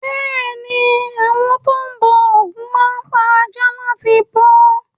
Bẹ́ẹ̀ ni, àwọn tó ń bọ ògún máa ń pa aja láti bọ́.